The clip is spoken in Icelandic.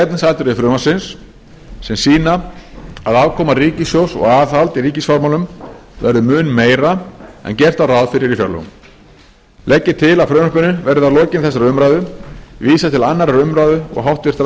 efnisatriði frumvarpsins sem sýna að afkoma ríkissjóðs og aðhald í ríkisfjármálum verður mun meira en gert var ráð fyrir í fjárlögum legg ég til að frumvarpinu verði að lokinni þessari umræðu vísað til annarrar umræðu og háttvirtrar